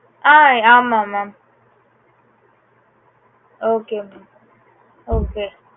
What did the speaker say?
ஆஹ் ஆமாம் mam okay mam okay